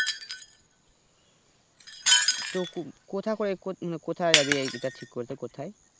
তু কুকোথা করে কুকোথা জাবি ইটা ঠিক করতে কোথায়